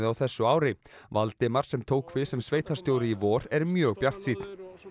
þessu ári Valdimar sem tók við sem sveitarstjóri í vor er mjög bjartsýnn